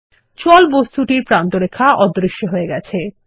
জল বস্তুটির প্রান্তরেখা অদৃশ্য হয়ে গেছে